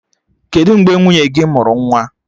Kedụ mgbe nwunye gị mụrụ nwa?